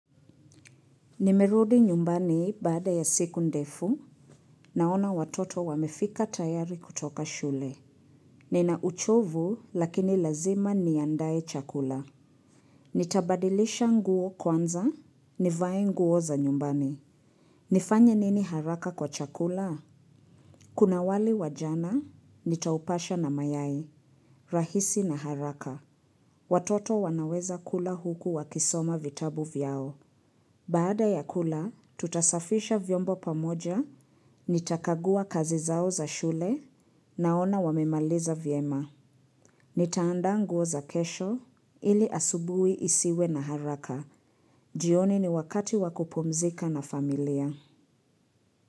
Nimerudi nyumbani baada ya siku ndefu, naona watoto wamefika tayari kutoka shule. Nina uchovu, lakini lazima niandaye chakula. Nitabadilisha nguo kwanza, nivaye nguo za nyumbani. Nifanya nini haraka kwa chakula? Kuna wali wa jana, nitaupasha na mayai, rahisi na haraka. Watoto wanaweza kula huku wakisoma vitabu vyao. Baada ya kula, tutasafisha vyombo pamoja, nitakagua kazi zao za shule naona wamemaliza vyema. Nitaanda nguo za kesho ili asubui isiwe na haraka. Jioni ni wakati wa kupumzika na familia.